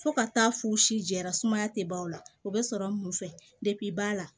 Fo ka taa f'u si jɛra sumaya tɛ ban o la o bɛ sɔrɔ mun fɛ ba la